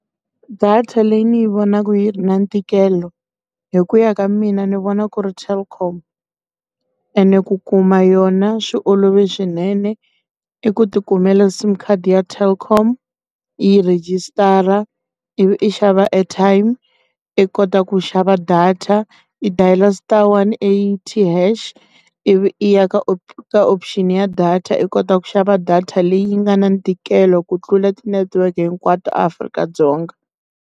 Data leyi ni vonaka yi ri na ntikelo, hi ku ya ka mina ni vona ku ri Telkom. Ene ku kuma yona swi olove swinene. I ku ti kumeka SIM card ya Telkom, i yi register, ivi i xava airtime, i kota ku xava data, i dayila star one eighty hash. Ivi i ya ka option ya data i kota ku xava data leyi yi nga na ntikelo ku tlula ti-network hinkwato a Afrika-Dzonga.